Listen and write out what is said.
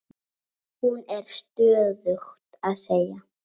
Hún er stöðugt að segja